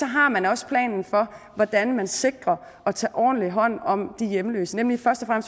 har man også planen for hvordan man sikrer at tage ordentligt hånd om de hjemløse nemlig først og